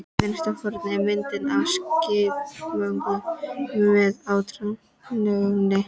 Í vinstra horni er mynd af skjalamöppu með áletruninni